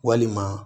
Walima